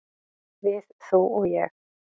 """Við, þú og ég."""